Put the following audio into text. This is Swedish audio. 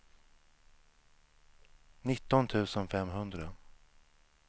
nitton tusen femhundra